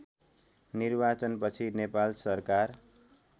निर्वाचनपछि नेपाल सरकार